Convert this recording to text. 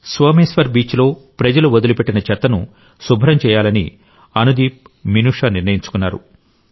సోమేశ్వర్ బీచ్లో ప్రజలు వదిలిపెట్టిన చెత్తను శుభ్రం చేయాలని అనుదీప్ మినుషా నిర్ణయించుకున్నారు